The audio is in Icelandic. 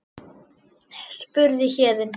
spurði Héðinn.